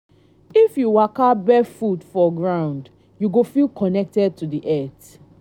if you waka barefoot for ground you go feel connected to di earth.